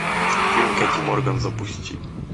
фильм кэти морган запусти